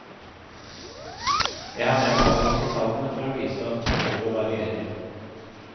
Jeg har nevnt alle disse tallene for å vise at behovet varierer.